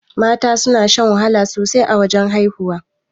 Mata suna shan wahala sosai a wajan haihuwa.